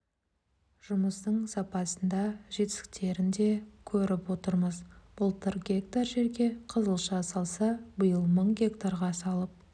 жұмыстың сапасын да жетістіктерін де көріп отырмыз былтыр гектар жерге қызылша салса биыл мың гектарға салып